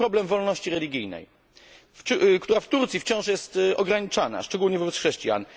Chodzi o problem wolności religijnej, która w Turcji wciąż jest ograniczana, szczególnie wobec chrześcijan.